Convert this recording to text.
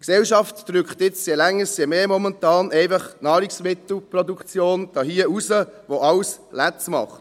Die Gesellschaft drückt momentan – je länger, umso mehr – einfach die Nahrungsmittelproduktion hier raus, die alles falsch macht.